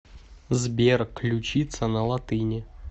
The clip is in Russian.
сбер ключица на латыни